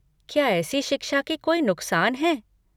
क्या ऐसी शिक्षा के कोई नुकसान हैं?